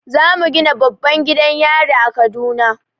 Zamu gina babban gidan yari a kaduna